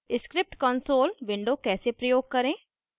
* script console window कैसे प्रयोग करें